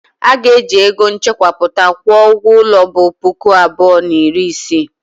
A ga-eji ego m chekwapụta kwụọ ụgwọ ulo bu puku abụọ na iri isii.